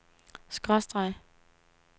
skråstreg